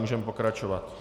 Můžeme pokračovat.